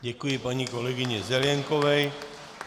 Děkuji paní kolegyni Zelienkové.